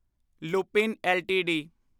Lupin LTD